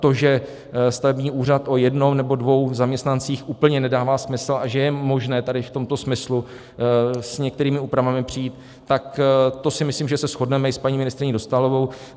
To, že stavební úřad o jednom nebo dvou zaměstnancích úplně nedává smysl a že je možné tady v tomto smyslu s některými úpravami přijít, tak to si myslím, že se shodneme i s paní ministryní Dostálovou.